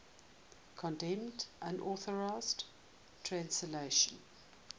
condemned unauthorized translations